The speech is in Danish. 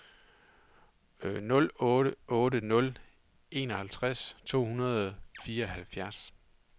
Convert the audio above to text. nul otte otte nul enoghalvtreds to hundrede og fireoghalvfjerds